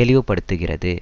தெளிவுபடுத்துகிறது